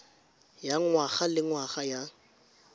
ya ngwaga le ngwaga ya